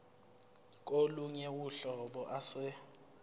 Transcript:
kolunye uhlobo ase